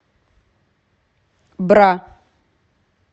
бра